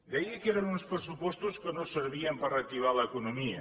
deia que eren uns pressupostos que no servien per reactivar l’economia